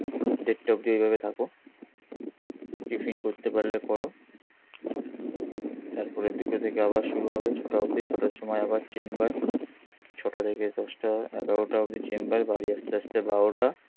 দেড়টা অব্দি এইভাবে থাকো টিফিন করতে পারলে করো তারপরে দুটো থেকে আবার শুরু হবে, ছটা অবধি ছটার সময় আবার চেম্বার ছটা থেকে দশটা, এগারোটা অবধি চেম্বার বাড়ি আস্তে আস্তে বারোটা.